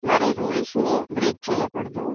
మరి రూల్స్ ని బ్రేక్ చేయకూడదు.